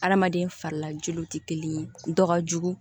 Adamaden farilaju tɛ kelen ye dɔ ka jugu